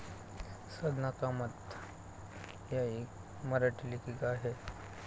साधना कामत या एक मराठी लेखिका आहेत.